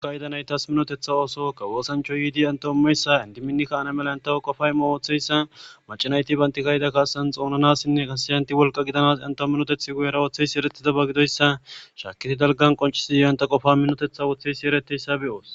Olka yedanay taas minotetha ooso ka woosancho yiidi intohommeyssa indiminikka ana mela intawo qofaymo ooththeyssa macanayti bayntikayida kaasan xoonanassinne kasiyanti wolqa gidanas entoo minoteth guyera ooththeysi eretidaba gidoyssa shaakiti dalgan qoncisi iointa qofa minotetha wooththeysi ereteyssa be'oos.